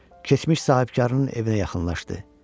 Keçmiş sahibkarının evinə yaxınlaşdı.